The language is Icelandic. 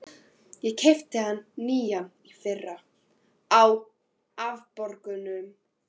Ég keypti hann nýjan í fyrra, á afborgunum.